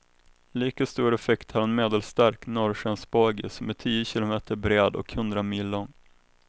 Lika stor effekt har en medelstark norrskensbåge som är tio kilometer bred och hundra mil lång.